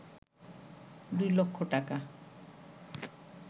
দুই লক্ষ টাকা